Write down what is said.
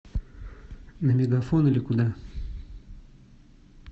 на мегафон или куда